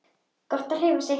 Gott að hreyfa sig.